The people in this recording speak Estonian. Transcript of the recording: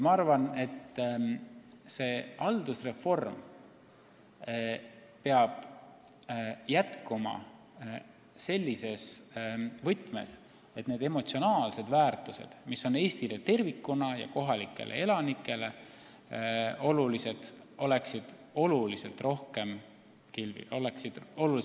Ma arvan, et ka see haldusreform peab jätkuma sellises võtmes, et need emotsionaalsed väärtused, mis on olulised Eestile tervikuna ja kohalikele elanikele, oleksid palju rohkem esil.